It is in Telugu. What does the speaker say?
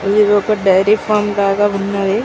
ఇది ఒక డైరీ ఫార్మ్ లాగా ఉన్నది.